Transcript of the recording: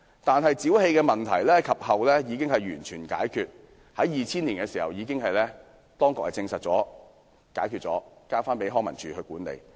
但是，沼氣問題後來已獲解決，當局亦已在2000年證實沒有問題，並將公園交還康樂及文化事務署管理。